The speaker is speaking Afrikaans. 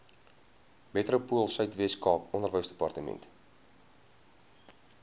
metropoolsuid weskaap onderwysdepartement